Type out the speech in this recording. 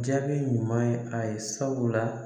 Jaabi ɲuman ye a ye sabula.